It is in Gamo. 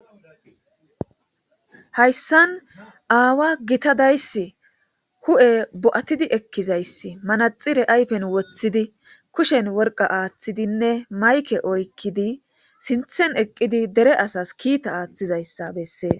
Hayssan aawa gitadayssi hu'e bo'atidi ekkizayssi manaxire aypen woththidi kushen worqa aaththidinne mayke oykkidi sinthen eqqidi dere asas kiita aaththizayssa bessee.